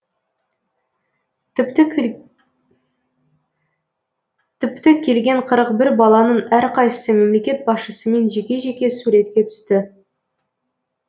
тіпті келген қырықбір баланың әрқайсысы мемлекет басшысымен жеке жеке суретке түсті